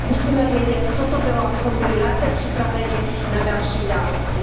Musíme vědět, co to bylo, abychom byli lépe připraveni na další události.